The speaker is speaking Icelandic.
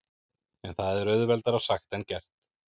En það er auðveldara sagt en gert.